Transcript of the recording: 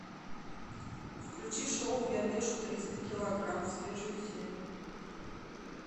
включи шоу я вешу триста килограмм свежую серию